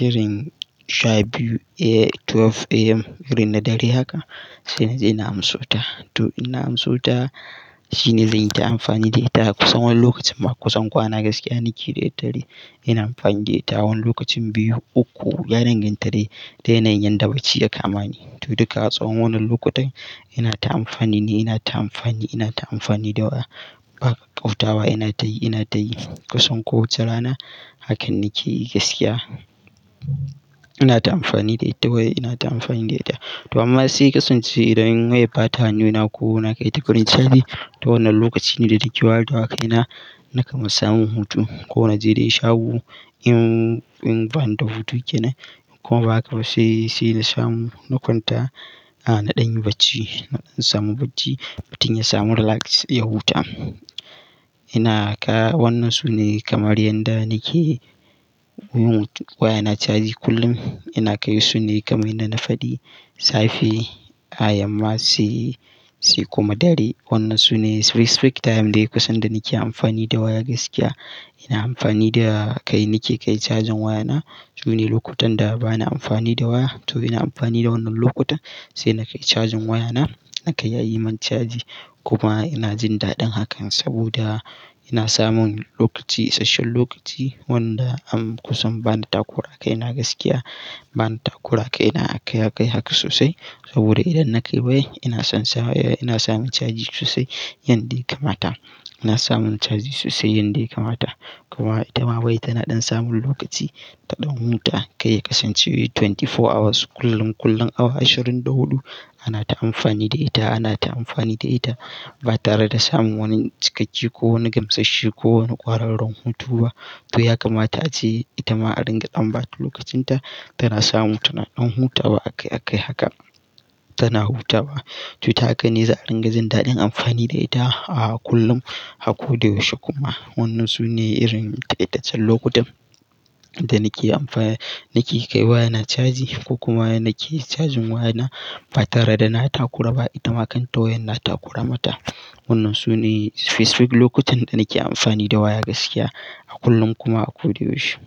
irin sha biyu eh 12 AM irin na dare haka sai naje na amso ta. To in na amso ta shine zanyi ta amfani da ita kusan wani lokacin ma kusan kwana gaskiya nake da daddare. Ina amfani da ita wani lokacin biyu, uku, ya danganta dai da yanayin da bacci da kamani. To duka a tsawon wannan lokutan ina ta amfani ne, ina ta amfani, ina ta amfani da waya. Baƙar ƙauatawa ina tayi, ina tayi kusan kowace rana hakan nake yi gaskiya. Ina ta amfani da ita waya ina ta amfani da ita. To amma sai ƙasan ce idan wayar bata hannuna ko na kai ta wurin caji to wannan lokaci ne da nake ware wakai na naka man samun hutu. Ko nace dai shahu in, in bani da hutu kenan kuma ba haka ba sai, sai na samu na kwanta. A na ɗan yi bacci, na ɗan samu bacci. Fitin ya samu relax, ya huta. Ina haka wannan su ne kamar yanda nake yi hutu. Waya na caji kullum. Ina kai su ne kamar yadda na faɗi. Safe, a yamma sai, sai kuma dare. Wannan su ne respect time dai kusan da nake amfani da waya gaskiya. Ina amfani da kai nake kai cajin waya na. Su ne lokutan da bana amfani da waya. To ina amfani da wannan lokuta sai na kai cajin waya na. Naka ya yi min caji kuma ina jin daɗin hakan saboda ina samun lokaci, isasshen lokaci wanda am kusan bana takura kai na gaskiya. Bana takura kai na aka yi haka sosai saboda idan na kai waye ina son sawa waya ina samun caji sosai yanda ya kamata. Ina samun caji sosai yanda ya kamata. Kuma ita ma waya tana ɗan samun lokaci ta ɗan huta. Kai ƙasan ce awa ashirin da huɗu kullum kullum awa ashirin da huɗu ana ta amfani da ita, ana ta amfani da ita ba tare da samun wani cikakke ko wani gamsasshi ko wani ƙwararren hutu ba. To yaka ma ta ce ita ma a ringa ɗan ba ta lokacin ta. Tana samu tana ɗan hutawa akai akai haka tana hutawa. To ta haka ne za a ringa samun daɗin amfani da ita a kullum a ko da yaushe kuma. Wannan su ne irin ƙaitaccen lokutan da nake amfaya nake kai waya na caji ko kuma yake cajin waya na ba tare da na takura ba. Ita ma kan ta wayan na takura mata. Wannan su ne Facebook lokutan da nake amfani da waya gaskiya a kullum kuma a ko da yaushe.